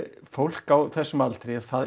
fólk á þessum aldri er